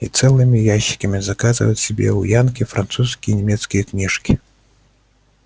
и целыми ящиками заказывают себе у янки французские и немецкие книжки